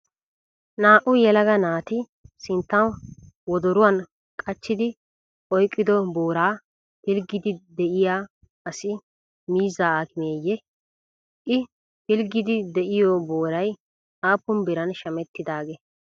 Naa'u yelaga naati sinttan wodoruwan kachchidi oyiqqido booraa pilggiiddi diya asi miizzaa aakimeeyye? I pilggiiddi diyoo boorayi aappun biran shamettidaagee?